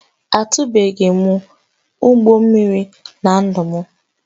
Ahụtụbeghị m ụgbọ mmiri na ndụ m